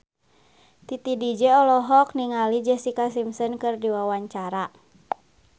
Titi DJ olohok ningali Jessica Simpson keur diwawancara